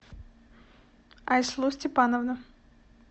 айслу степановна